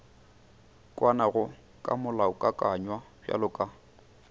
kwanago ka molaokakanywa bjalo ka